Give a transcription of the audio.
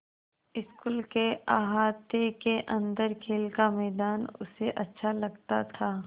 school के अहाते के अन्दर खेल का मैदान उसे अच्छा लगता था